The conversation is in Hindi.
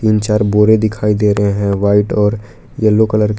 तीन चार बोरे दिखाई दे रहे हैं व्हाइट और येलो कलर के।